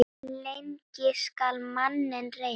Lengi skal manninn reyna.